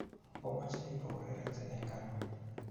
Omache ipo urerense eng' ano?